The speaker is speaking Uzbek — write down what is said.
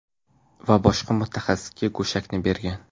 Va boshqa mutaxassisga go‘shakni bergan.